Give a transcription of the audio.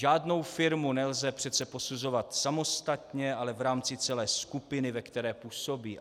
Žádnou firmu nelze přece posuzovat samostatně, ale v rámci celé skupiny, ve které působí.